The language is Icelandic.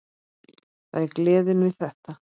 Það er gleðin við þetta.